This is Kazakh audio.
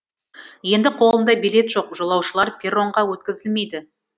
енді қолында билеті жоқ жолаушылар перронға өткізілмейді